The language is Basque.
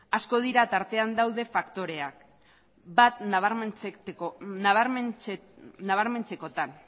asko dira tartean dauden faktoreak bat nabarmentzekotan